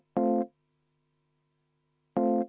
läbi vaadanud.